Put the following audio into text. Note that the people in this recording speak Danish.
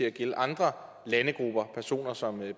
at gælde andre landegrupper og personer som